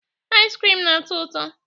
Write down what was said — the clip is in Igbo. Iz krim na-atọ ụtọ.